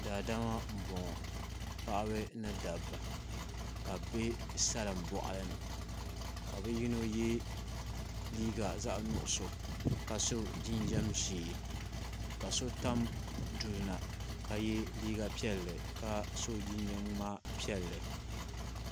Daadama n boŋo paɣaba ni dabba ka bi biɛ salin boɣali ni ka bi yino yɛ liiga zaɣ nuɣso ka so jinjɛm ʒiɛ ka so tam duli na ka yɛ liiga piɛlli ka so jinjɛm ŋma piɛlli